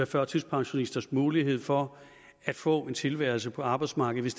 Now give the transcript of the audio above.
førtidspensionisters mulighed for at få en tilværelse på arbejdsmarkedet